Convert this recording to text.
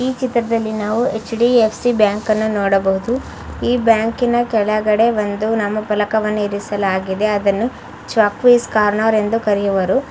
ಈ ಚಿತ್ರದಲ್ಲಿ ನಾವು ಎಚ್ ಡಿ ಎಫ್ ಸಿ ಬ್ಯಾಂಕ್ ಅನ್ನು ನೋಡಬಹುದು ಈ ಬ್ಯಾಂಕಿನ ಕೆಳಗಡೆ ಒಂದು ನಾಮಾಫಲಕವನ್ನು ಇರಿಸಲಾಗಿದೆ ಅದನ್ನು ಚ್ವಾಂಕೀಸ್ ಕಾರ್ನರ್ ಎಂದು ಕರೆಯುವರು.